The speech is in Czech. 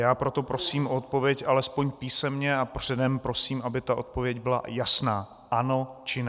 Já proto prosím o odpověď alespoň písemně a předem prosím, aby ta odpověď byla jasná, ano, či ne.